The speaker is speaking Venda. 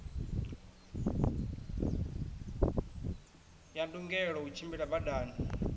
ya ndungelo u tshimbila badani